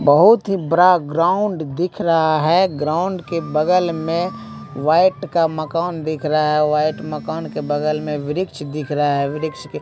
बहुत ही ब्रा ग्राउंड दिख रहा है ग्राउंड के बगल में वाइट का मकान दिख रहा है वाइट मकान के बगल में वृक्ष दिख रहा है वृक्ष के --